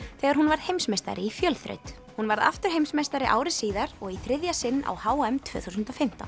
þegar hún varð heimsmeistari í fjölþraut hún varð aftur heimsmeistari ári síðar og í þriðja sinn á h m tvö þúsund og fimmtán